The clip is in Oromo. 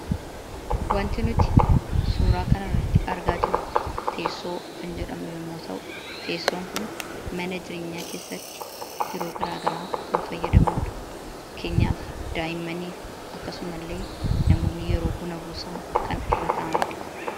Wanti nuti suuraa kanarratti argaa jirru teessoo kan jedhamu yommuu ta'u, teessoon kun mana jireenyaa keessatti yeroo garaagaraa kan fayyadamnu dha. Fakkeenyaaf, daa'immaniif akkasuma illee namoonni yeroo buna buusaa kan irra taa'anii dha.